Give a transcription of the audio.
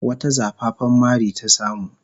Wata zafafan mari ta samu.